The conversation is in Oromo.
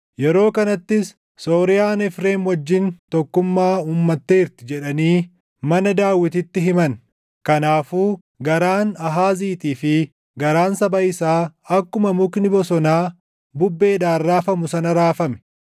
Yeroo kanattis, “Sooriyaan Efreem wajjin tokkummaa uummatteerti” jedhanii mana Daawititti himan; kanaafuu garaan Aahaaziitii fi garaan saba isaa akkuma mukni bosonaa bubbeedhaan raafamu sana raafame.